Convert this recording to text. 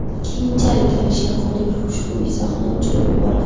Keyinchalik Alisher Qodirov ushbu izohni o‘chirib yubordi.